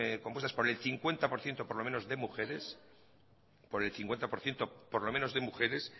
compuestas por el cincuenta por ciento por lo menos de mujeres por el cincuenta por ciento por lo menos de mujeres